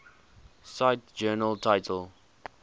cite journal title